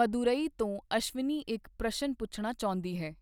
ਮਦੁਰਈ ਤੋਂ ਅਸ਼ਵਿਨੀ ਇੱਕ ਪ੍ਰਸ਼ਨ ਪੁੱਛਣਾ ਚਾਹੁੰਦੀ ਹੈ।